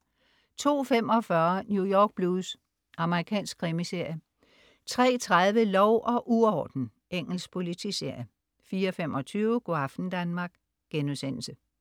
02.45 New York Blues. Amerikansk krimiserie 03.30 Lov og uorden. Engelsk politiserie 04.25 Go' aften Danmark*